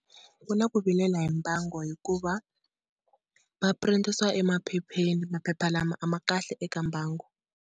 Ku na ku vilela hi mbango hikuva va printisa emaphepheni, maphepha lama a ma kahle eka mbango.